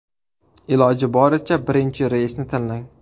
Iloji boricha birinchi reysni tanlang.